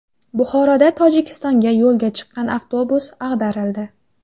Buxoroda Tojikistonga yo‘lga chiqqan avtobus ag‘darildi.